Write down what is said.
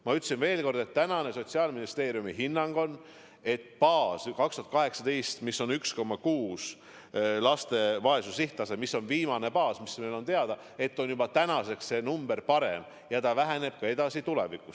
Ma ütlen veel kord, et tänane Sotsiaalministeeriumi hinnang on, et aasta 2018 tase, mis oli 1,6% – see laste vaesuse näitaja on viimane, mis meile teada –, on juba tänaseks alanenud ja alaneb ka tulevikus.